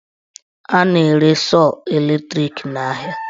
A na-ere sọọ latrik n'ahịa.